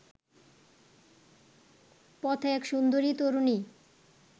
পথে এক সুন্দরী তরুণী